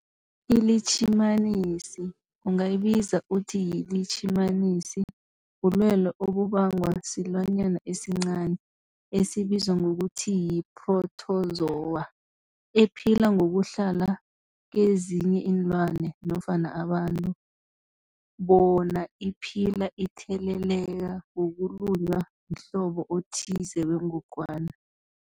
ILitjhimanisi ungayibiza uthiyilitjhimanisi, bulwelwe obubangwa silwanyana esincani esibizwa ngokuthiyi-phrotozowa ephila ngokuhlala kezinye iinlwana nofana abantu bona iphile itheleleka ngokulunywa mhlobo othize wengogwana.